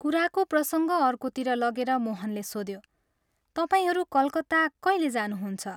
कुराको प्रसङ्ग अर्कोतिर लगेर मोहनले सोध्यो, " तपाईंहरू कलकत्ता कैले जानुहुन्छ?